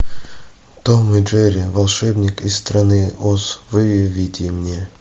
том и джерри волшебник из страны оз выведи мне